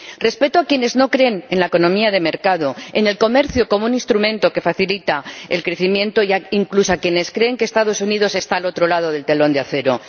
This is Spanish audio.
Respeto a quienes no creen en la economía de mercado, en el comercio como un instrumento que facilita el crecimiento e, incluso, a quienes creen que los Estados Unidos están al otro lado del telón de acero.